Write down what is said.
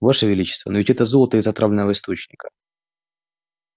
ваше величество но ведь это золото из отравленного источника